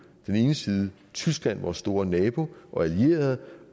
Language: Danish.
den ene side tyskland vores store nabo og allierede